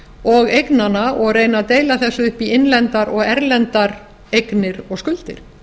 og eignanna og reyna að deila þessu upp í innlendar og erlendar eignir og skuldir